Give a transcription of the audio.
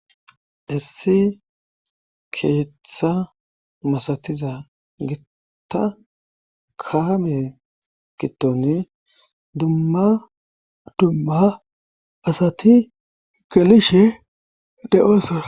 issi keeththa masatiza gitta kaame giddone dumma dumma asati gelishe de7oosona